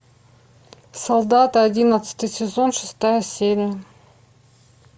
солдаты одиннадцатый сезон шестая серия